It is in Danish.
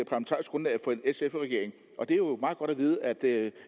sf regering og det er jo meget godt at vide at det